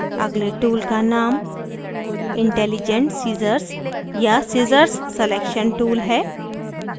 अगले tool का name intelligent scissors या scissors selection tool है